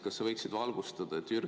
Kas sa võiksid valgustada?